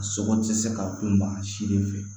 A sogo tɛ se ka dun maa si de fɛ